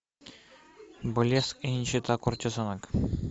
блеск и нищета куртизанок